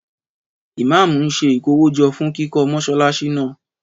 Ìmámù ń se ìkówójo fún kíkọ́ Mọ́ṣáláṣí náà